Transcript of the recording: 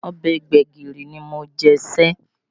Ọbẹ̀ gbẹ̀gìrì ni Mojí sè